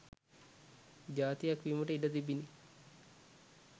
ජාතියක් වීමට ඉඩ තිබිණ.